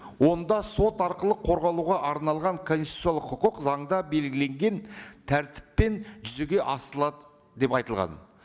онда сот арқылы қорғалуға арналған конституциялық құқық заңда белгіленген тәртіппен жүзеге асырылады деп айтылған